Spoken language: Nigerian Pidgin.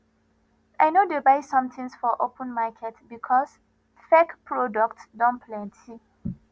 i no dey buy sometins for open market because fake product don plenty